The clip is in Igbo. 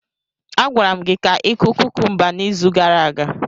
A gwara m gi ka ịkụ kukumba n'izu gara aga.